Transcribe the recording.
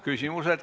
Küsimused.